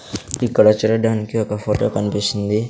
ఇక్కడ చెడడానికి ఒక ఫోటో కన్పిస్తుంది.